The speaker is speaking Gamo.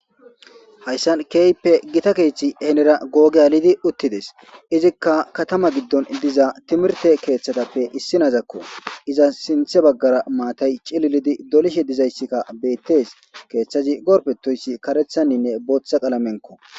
hayssan keeyppe gita keeththi henera googe alidi uttides izikka katama giddon diza timirte keeththadappe issi naazakko iza sinthe baggara maatay cililidi dolishe dizayssikka bettes keeththazi gorpetoyssi karethanninne booththa qalamenko